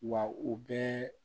Wa u bɛɛ